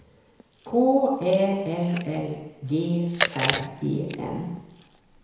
K Ä L L G R E N